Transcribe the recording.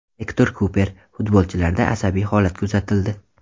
Ektor Kuper: Futbolchilarda asabiy holat kuzatildi.